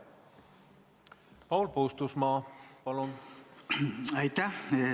Paul Puustusmaa, palun!